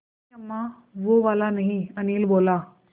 नहीं अम्मा वो वाला नहीं अनिल बोला